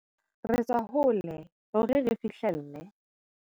Re tswa hole hore re fihlelle